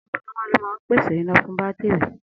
Amúnáwá ló máa ń pèsè iná fún bátìrì.